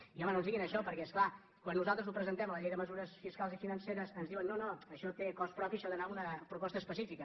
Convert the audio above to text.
i home no ens diguin això perquè és clar quan nosaltres ho presentem a la llei de mesures fiscals i financeres ens diuen no no això té cost propi això ha d’anar en una proposta específica